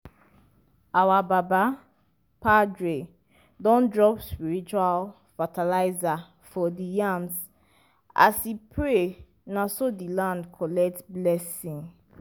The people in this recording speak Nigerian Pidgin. our baba padre don drop spiritual fertilizer for di yams as e pray na so di land collect blessing.